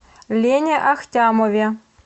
лене ахтямове